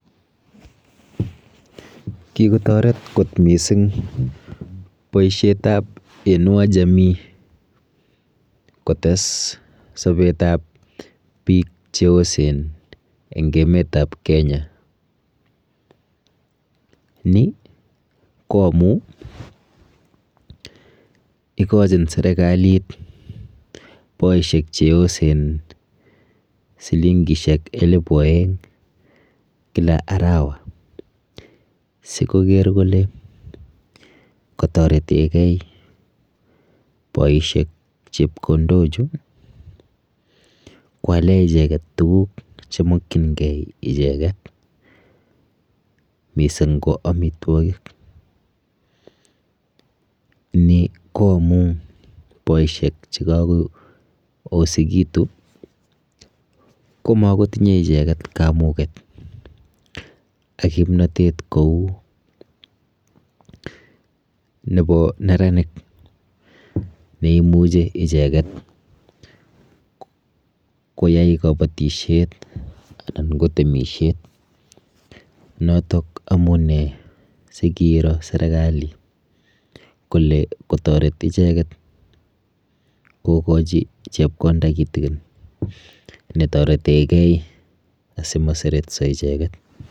Kikotoret kot mising boishetap Inua jamii kotes sobetap biik cheosen eng emetap Kenya. Ni ko amu ikochin serikalit boishek cheosen silingishek elepu oeng kila arawa sikoker kole katoretegei boishek chepkondochu kwale icheket tuguk chemokchingei icheket mising ko amitwokik, ni ko amu boishek chekakoosekitu komakotinye icheket kamuket ak kimnotet kou nepo neranik neimuchi icheket koyai kabatishet anan ko temishet. Notok amune sikiiro serikali kole kotoret icheket kokochi chepkonda kitikin netoretegei asimaseretso icheket.